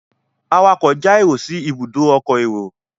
awakọ̀ já èrò sí Ibùdó ọkọ̀ èrò